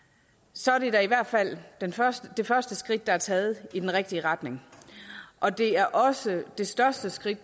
så er det da i hvert fald det første det første skridt der er taget i den rigtige retning og det er også det største skridt